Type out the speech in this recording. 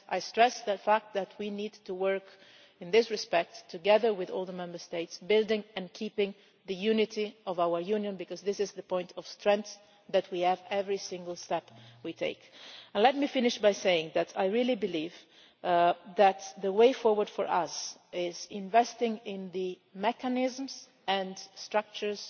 I stress that fact that we need to work, in this respect, together with all the Member States, building and keeping the unity of our Union because this is the point of strength that we have in every single step we take. Let me finish by saying that I really believe that the way forward for us is investing in the mechanisms and structures